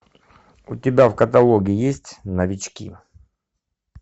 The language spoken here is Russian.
у тебя в каталоге есть новички